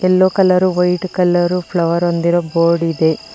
ಎಲ್ಲೋ colour white colour flower ಹೊಂದಿರುವ board ಇದೆ.